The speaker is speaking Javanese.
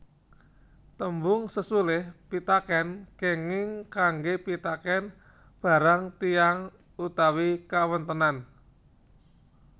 Tembung sesulih pitakèn kenging kanggé pitakèn barang tiyang utawi kawontenan